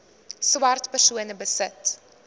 swart persone besit